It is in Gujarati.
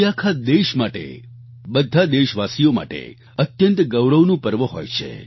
તે આખા દેશ માટે બધા દેશવાસીઓ માટે અત્યંત ગૌરવનું પર્વ હોય છે